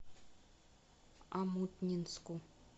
омутнинску